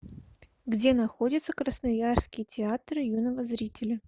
где находится красноярский театр юного зрителя